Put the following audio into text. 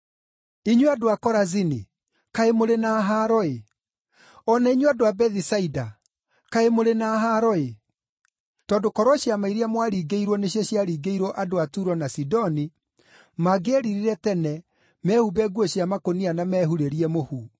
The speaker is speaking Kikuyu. “Inyuĩ andũ a Korazini, kaĩ mũrĩ na haaro-ĩ! O na inyuĩ andũ a Bethisaida, kaĩ mũrĩ na haaro-ĩ! Tondũ korwo ciama iria mwaringĩirwo nĩcio ciaringĩirwo andũ a Turo na Sidoni, mangĩeririre tene mehumbe nguo cia makũnia na mehurĩrie mũhu.